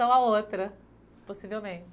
À outra, possivelmente.